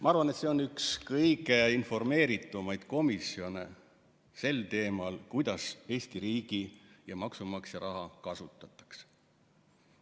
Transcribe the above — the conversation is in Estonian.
Ma arvan, et see on üks kõige informeeritumaid komisjone sel teemal, kuidas Eesti riigi ja maksumaksja raha kasutatakse.